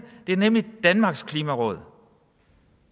det er nemlig danmarks klimaråd